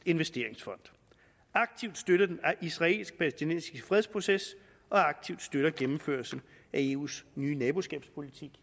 investeringsfond aktivt støtter den israelsk palæstinensiske fredsproces aktivt støtter gennemførelse af eus nye naboskabspolitik i